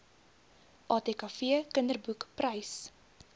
atkv kinderboek prys